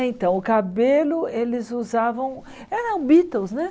Então, o cabelo, eles usavam... Eram Beatles, né?